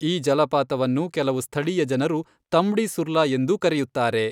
ಈ ಜಲಪಾತವನ್ನು ಕೆಲವು ಸ್ಥಳೀಯ ಜನರು ತಂಬ್ಡಿ ಸುರ್ಲಾ ಎಂದೂ ಕರೆಯುತ್ತಾರೆ.